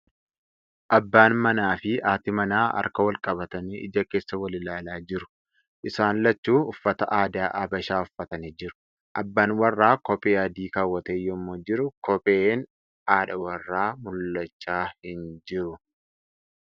Abbaan manaa fi haati manaa harka wal qabatanii ija keessa wal ilaalaa jiru. Isaan lachuu uffata aadaa Habashaa uffatanii jiru . Abbaan warraa kophee adii keewwatee yemmuu jiru kopheen haadha warraa mul'achaa hin jiru .